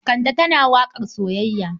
Kande tana waƙar soyayya.